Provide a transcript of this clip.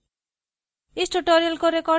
report